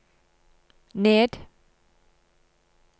ned